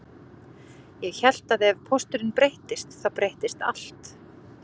Ég hélt að ef pósturinn breyttist þá breyttist allt